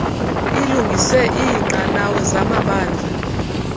ilungise iinqanawa zamabala